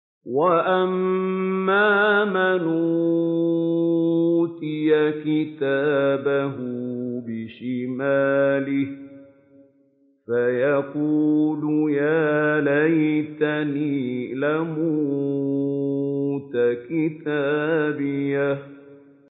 وَأَمَّا مَنْ أُوتِيَ كِتَابَهُ بِشِمَالِهِ فَيَقُولُ يَا لَيْتَنِي لَمْ أُوتَ كِتَابِيَهْ